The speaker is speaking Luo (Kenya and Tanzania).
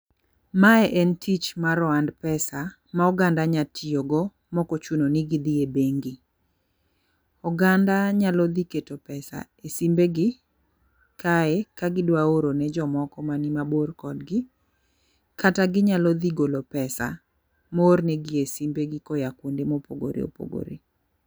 Mae en tich mar ohand pesa ma oganda nya tiyo go mokochuno ni gidhie bengi. Oganda nyalo dhi keto pesa e simbegi kae ka gidwa oro ne jomoko mani mabor kodgi kata ginyalo dhi golo pesa moor negi e simbe gi koya kuonde mopogore opogore.